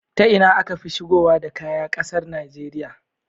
Ta Ina akafi shigowa da kaya ƙasar Nigeria